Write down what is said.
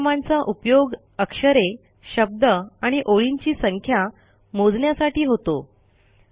या कमांडचा उपयोग अक्षरे शब्द आणि ओळींची संख्या मोजण्यासाठी होतो